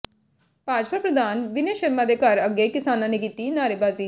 ਭਾਜਪਾ ਪ੍ਰਧਾਨ ਵਿਨੇ ਸ਼ਰਮਾ ਦੇ ਘਰ ਅੱਗੇ ਕਿਸਾਨਾਂ ਨੇ ਕੀਤੀ ਨਾਅਰੇਬਾਜ਼ੀ